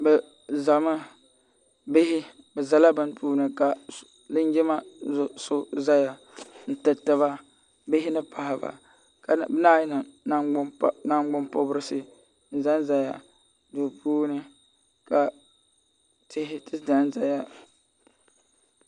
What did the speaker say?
bɛ zami bihi bɛ zala bɛn tuuni linjima do so zaya n tɛritɛba bihi ni ka yi niŋ nagbanpɔrisi n zan zaya bɛ puuni ka tihi Zan zaya